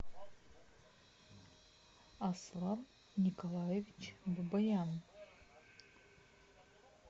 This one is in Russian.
аслан николаевич бабаян